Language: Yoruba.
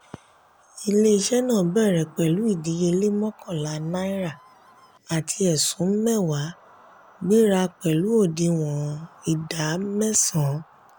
ile-iṣẹ́ náà bèrè pẹ̀lú ìdíyelé mọ́kànlá náírà àti ẹ̀sún mẹwa gbéra pẹ̀lú òdìwọ̀n ìdá mẹ́san.